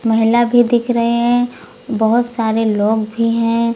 महिला भी दिख रहे है बहोत सारे लोग भी है।